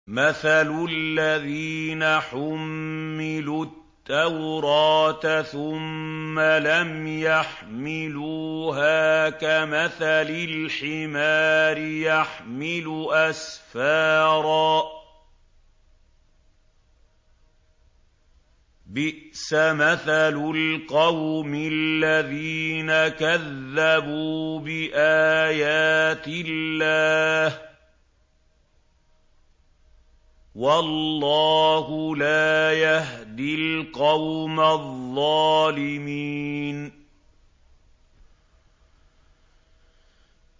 مَثَلُ الَّذِينَ حُمِّلُوا التَّوْرَاةَ ثُمَّ لَمْ يَحْمِلُوهَا كَمَثَلِ الْحِمَارِ يَحْمِلُ أَسْفَارًا ۚ بِئْسَ مَثَلُ الْقَوْمِ الَّذِينَ كَذَّبُوا بِآيَاتِ اللَّهِ ۚ وَاللَّهُ لَا يَهْدِي الْقَوْمَ الظَّالِمِينَ